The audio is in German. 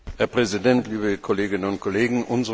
Herr Präsident, liebe Kolleginnen und Kollegen!